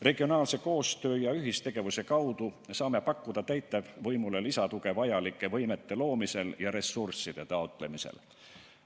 Regionaalse koostöö ja ühistegevuse kaudu saame pakkuda täitevvõimule lisatuge vajalike võimete loomisel ja ressursside taotlemisel.